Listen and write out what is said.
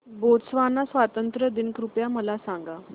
Botswana स्वातंत्र्य दिन कृपया मला सांगा